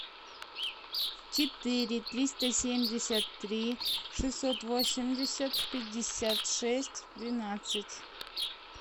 четыре триста семьдесят три шестьсот восемьдесят пятьдесят шесть двенадцать